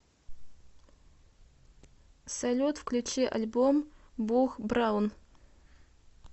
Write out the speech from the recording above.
салют включи альбом буг браун